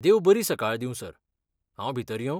देव बरीं सकाळी दींव सर, हांव भितर येवं?